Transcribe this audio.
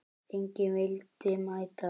Enginn vildi mæta.